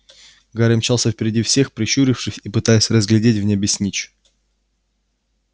гарри мчался впереди всех прищурившись и пытаясь разглядеть в небе снитч